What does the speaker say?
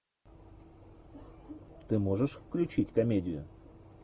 ты можешь включить комедию